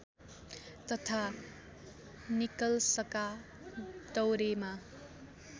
तथा निकलसका दौरेमा